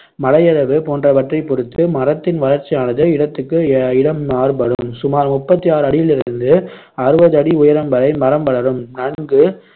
மழையளவு போன்றவற்றைப் பொறுத்து மரத்தின் வளர்ச்சியானது இடத்துக்கு இடம் மாறுபடும் சுமார் முப்பத்து ஆறு அடியிலிருந்து அறுபது அடி உயரம் வரை மரம் வளரும் நன்கு